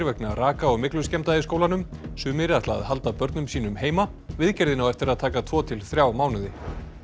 vegna raka og í skólanum sumir ætla að halda börnum sínum heima viðgerðin á eftir að taka tvo til þrjá mánuði